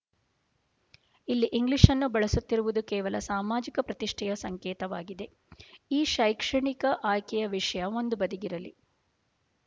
ಅಲ್ಲಿ ಇಂಗ್ಲಿಶ್‌ನ್ನು ಬಳಸುತ್ತಿರುವುದು ಕೇವಲ ಸಾಮಾಜಿಕ ಪ್ರತಿಷ್ಠೆಯ ಸಂಕೇತವಾಗಿದೆ ಈ ಶೈಕ್ಷಣಿಕ ಆಯ್ಕೆಯ ವಿಷಯ ಒಂದು ಬದಿಗಿರಲಿ